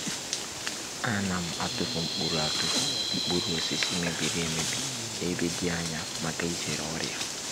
a na m atụfụ nkpụrụ atụfụ nkpụrụ osisi mebiri emebi e ba di anya maka e zere ọrịa.